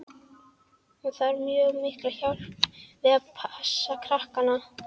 Hún þarf mjög mikla hjálp við að passa krakkana.